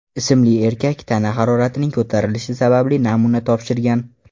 ismli erkak tana haroratining ko‘tarilishi sababli namuna topshirgan.